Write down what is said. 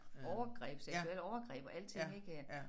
Overgreb seksuelle overgreb og alting ik øh